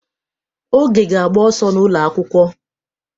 Oge ga-agba ọsọ n'ụlọ akwụkwọ.